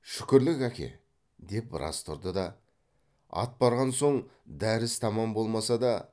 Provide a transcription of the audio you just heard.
шүкірлік әке деп біраз тұрды да ат барған соң дәріс тамам болмаса да